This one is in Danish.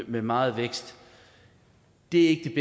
med meget vækst det er ikke